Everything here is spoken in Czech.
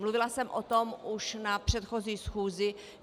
Mluvila jsem o tom už na předchozí schůzi.